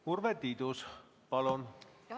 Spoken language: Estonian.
Urve Tiidus, palun!